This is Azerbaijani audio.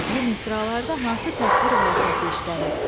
Bu misralarda hansı təsvir vasitəsi işlənib?